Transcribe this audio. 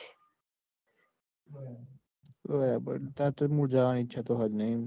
બરાબર તાર મુજબ જવાની ઈચ્છા તો હ જ નઈ